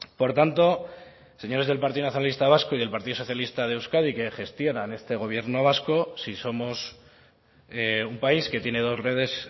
por tanto señores del partido nacionalista vasco y del partido socialista de euskadi que gestionan este gobierno vasco si somos un país que tiene dos redes